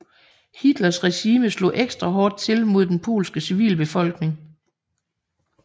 Hitlers regime slog ekstra hårdt til mod den polske civilbefolkning